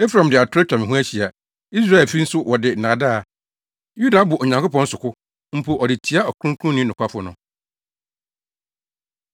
Efraim de atoro atwa me ho ahyia, Israelfi nso wɔde nnaadaa. Yuda abɔ Onyankopɔn so ko mpo ɔde tia Ɔkronkronni nokwafo no.